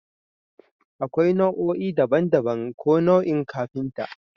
Akwai nau'o'i daban-daban ko nau'in kafinta